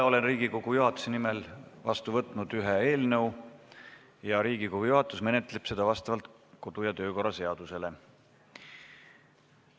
Olen Riigikogu juhatuse nimel vastu võtnud ühe eelnõu ja Riigikogu juhatus menetleb seda vastavalt kodu- ja töökorra seadusele.